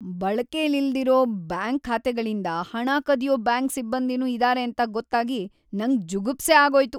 ಬಳಕೆಲಿಲ್ದಿರೋ bank ಖಾತೆಗಳಿಂದ ಹಣ ಕದ್ಯೋ ಬ್ಯಾಂಕ್ ಸಿಬ್ಬಂದಿನೂ ಇದಾರೆ ಅಂತ ಗೊತ್ತಾಗಿ ನಂಗ್‌ ಜುಗುಪ್ಸೆ ಆಗೋಯ್ತು.